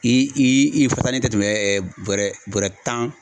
I i i fasanen te tɛmɛ bɔrɛ bɔrɛ tan